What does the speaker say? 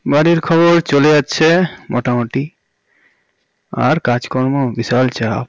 বাড়ির খবর চলে যাচ্ছে মোটামুটি আর কাজকর্ম বিশাল চাপ